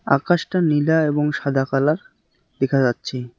আকাশটা নীলা এবং সাদা কালার দেখা যাচ্ছে।